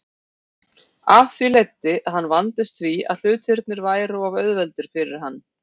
Af því leiddi að hann vandist því að hlutirnir væru of auðveldir fyrir hann.